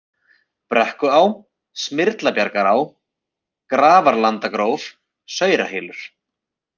Brekkuá, Smyrlabjargará, Grafarlandagróf, Saurahylur